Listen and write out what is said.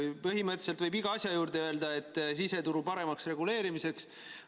Põhimõtteliselt võib iga asja juurde öelda, et siseturu paremaks reguleerimiseks.